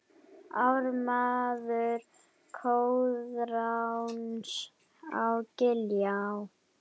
Ármaður Koðráns á Giljá